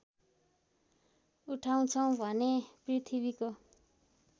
उठाउँछौँ भने पृथ्वीको